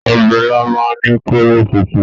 Ọbẹ̀ ilá máa ń ní kóró funfun